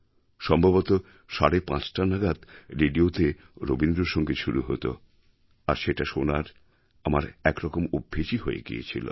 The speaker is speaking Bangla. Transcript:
সম্ভবত সাড়ে পাঁচটা নাগাদ রেডিওতে রবীন্দ্রসঙ্গীত শুরু হত আর সেটা শোনা আমার একরকম অভ্যেসই হয়ে গিয়েছিল